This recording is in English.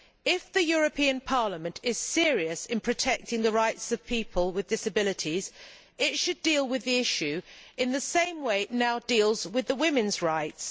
If the European Parliament is serious in protecting the rights of people with disabilities, it should deal with the issue in the same way it now deals with women's rights.